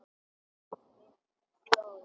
Finn blóð.